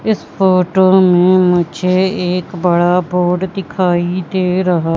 इस फोटो में मुझे एक बड़ा बोर्ड दिखाई दे रहा--